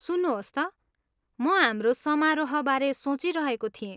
सुन्नुहोस् त, म हाम्रो समारोहबारे सोचिरहेको थिएँ।